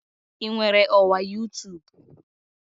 Ị nwere ọwa youtube?